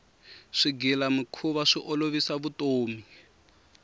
swigilamikhuva swi olovisa vutomi